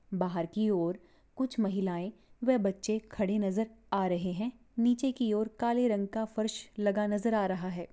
बाहर की ओर कुछ महिलाए वह बच्चे खडे नज़र आ रहे हैं नीचे की ओर काले रंग का फर्श लगा नज़र आ रहा है।